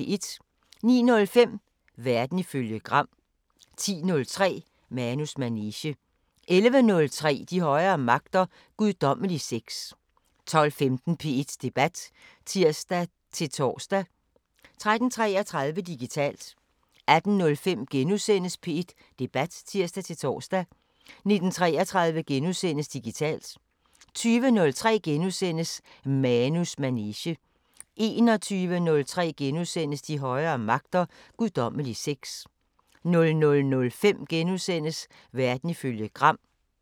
09:05: Verden ifølge Gram 10:03: Manus manege 11:03: De højere magter: Guddommelig sex 12:15: P1 Debat (tir-tor) 13:33: Digitalt 18:05: P1 Debat *(tir-tor) 19:33: Digitalt * 20:03: Manus manege * 21:03: De højere magter: Guddommelig sex * 00:05: Verden ifølge Gram *